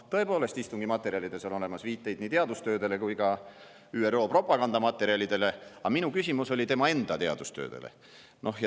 Tõepoolest, istungi materjalides on viiteid nii teadustöödele kui ka ÜRO propagandamaterjalidele, aga minu küsimus oli tema enda teadustööde kohta.